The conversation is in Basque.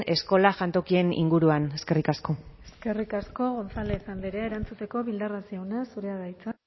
eskola jantokien inguruan eskerrik asko eskerrik asko gonzález andrea erantzuteko bildarratz jauna zurea da hitza